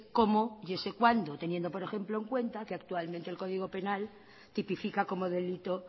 cómo y ese cuándo teniendo por ejemplo en cuenta que actualmente el código penal tipifica como delito